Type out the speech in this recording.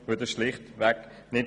Das stimmt schlichtweg nicht.